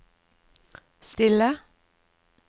stille